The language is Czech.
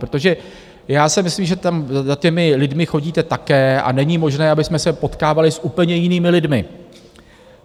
Protože já si myslím, že tam za těmi lidmi chodíte také a není možné, abychom se potkávali s úplně jinými lidmi.